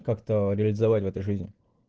как-то реализовать в этой жизни